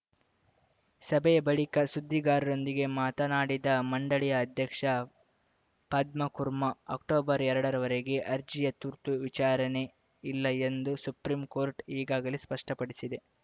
ಸಭೆಯ ಬಳಿಕ ಸುದ್ದಿಗಾರರೊಂದಿಗೆ ಮಾತನಾಡಿದ ಮಂಡಳಿ ಅಧ್ಯಕ್ಷ ಪದ್ಮಕುರ್ಮಾ ಅಕ್ಟೊಬರ್ಎರಡರವರೆಗೆ ಅರ್ಜಿಯ ತುರ್ತು ವಿಚಾರಣೆ ಇಲ್ಲ ಎಂದು ಸುಪ್ರೀಂಕೋರ್ಟ್‌ ಈಗಾಗಲೇ ಸ್ಪಷ್ಟಪಡಿಸಿದೆ